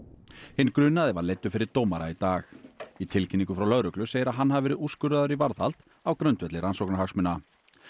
hinn grunaði var leiddur fyrir dómara í dag í tilkynningu frá lögreglu segir að hann hafi verið úrskurðaður í varðhald á grundvelli rannsóknarhagsmuna